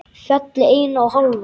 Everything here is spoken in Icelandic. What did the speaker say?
Fjallið eina og hálfa.